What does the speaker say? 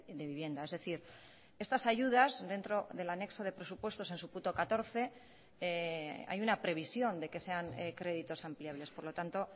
de vivienda es decir estas ayudas dentro del anexo de presupuestos en su punto catorce hay una previsión de que sean créditos ampliables por lo tanto